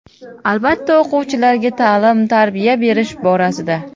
Albatta, o‘quvchilarga ta’lim-tarbiya berish borasida.